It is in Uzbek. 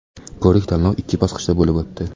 Ko‘rik-tanlov ikki bosqichda bo‘lib o‘tdi.